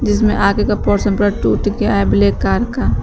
जिसमें आगे का पोर्शन पूरा टूट गया है ब्लैक कार का।